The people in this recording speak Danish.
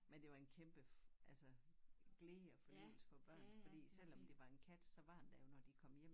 Men det var en kæmpe altså glæde og fornøjelse for børnene fordi selvom det var en kat så var den der jo når de kom hjem